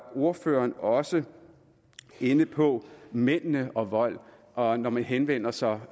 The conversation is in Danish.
ordføreren også inde på mændene og vold og når man henvender sig